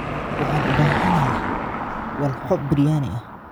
Waxaan u baahanahay walxo biryani ah.